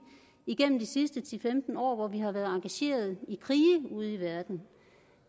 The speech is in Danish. igennem de sidste ti til femten år hvor vi har været engageret i krige ude i verden